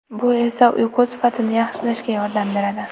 Bu esa uyqu sifatini yaxshilashga yordam beradi.